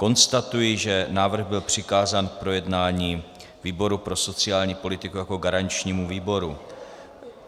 Konstatuji, že návrh byl přikázán k projednání výboru pro sociální politiku jako garančnímu výboru.